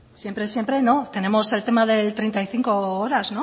siempre siempre no tenemos el tema de treinta y cinco horas